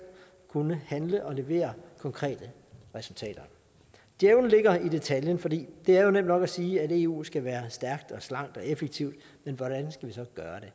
kunne handle og levere konkrete resultater djævlen ligger i detaljen for det er jo nemt nok at sige at eu skal være stærkt slankt og effektivt men hvordan skal vi så gøre